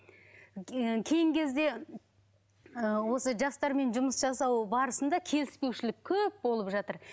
кейінгі кезде осы жастармен жұмыс жасау барысында келіспеушілік көп болып жатыр